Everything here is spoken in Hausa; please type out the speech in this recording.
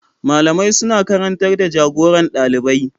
Malamai suna karantar da jagoran dalibai.